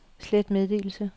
slet meddelelse